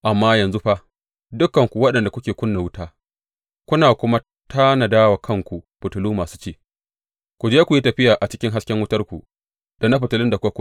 Amma yanzu fa, dukanku waɗanda kuke ƙuna wuta kuna kuma tanada wa kanku fitilu masu ci, ku je ku yi tafiya a cikin hasken wutarku da na fitilun da kuka ƙuna.